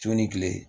Su ni kile